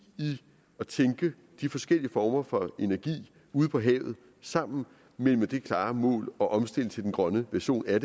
i at tænke de forskellige former for energi ude på havet sammen men med det klare mål at omstille til de grønne versioner